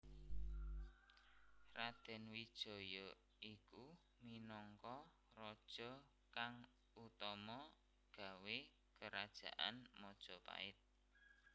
Raden Wijaya iku minangka Raja kang utama gawé Kerajaan Majapahit